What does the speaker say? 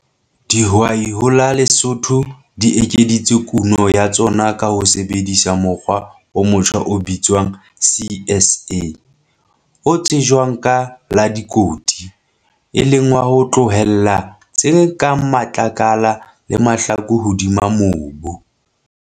Dihwai ho la Lesotho di ekeditse kuno ya tsona ka ho sebedisa mokgwa o motjha o bitswang CSA, o tsejwang ka la 'likoti', e leng wa ho tlohella tse kang matlakala le mahlaku hodima mobu.